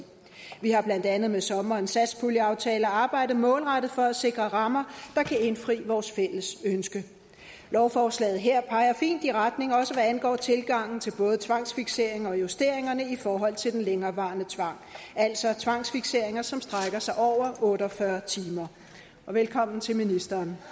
vi har blandt andet med sommerens satspuljeaftaler arbejdet målrettet for at sikre rammer der kan indfri vores fælles ønske lovforslaget her peger fint i den retning også hvad angår tilgangen til både tvangsfiksering og justeringerne i forhold til den længerevarende tvang altså tvangsfikseringer som strækker sig over otte og fyrre timer og velkommen til ministeren